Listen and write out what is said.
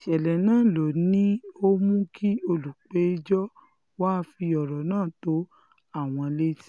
ìṣẹ̀lẹ̀ náà ló ní ó mú kí olùpẹ̀jọ́ wàá fi ọ̀rọ̀ náà tó àwọn létí